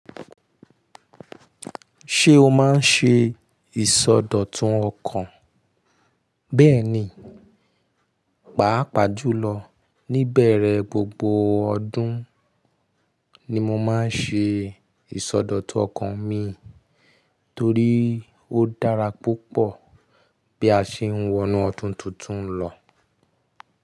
Ṣé o máa ń ṣe ìsọdọ̀tun ọkàn? Bẹ́ẹ̀ni, pàápàá jùlọ níbẹ̀rẹ̀ gbogbo ọdún ni mo máa ń ṣe ìsọdọ̀tun ọkàn mi torí ó dára púpọ̀ bí a ṣe ń wọnú ọdún tuntun lọ.